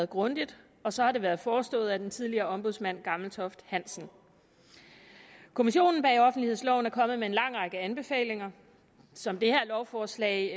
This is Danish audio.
grundigt og så har det været forestået af den tidligere ombudsmand gammeltoft hansen kommissionen bag offentlighedsloven er kommet med en lang række anbefalinger som det her lovforslag